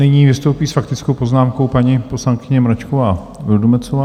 Nyní vystoupí s faktickou poznámkou paní poslankyně Mračková Vildumetzová.